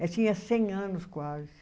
Ela tinha cem anos quase.